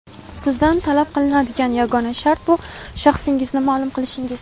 Sizdan talab qilinadigan yagona shart bu - shaxsingizni ma’lum qilishingiz!.